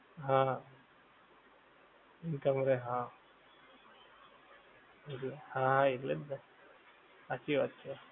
હા હા દુકાન વાળા એ હા હા એટલેજ ને હાંચી વાત છે